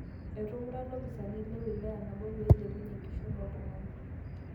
Etumuta loopisani le wilaya nabo pee eilepunye enkishon oo ltung'ana